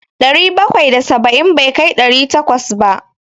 Ɗari bakwai da saba'in bai kai ɗari takwas ba.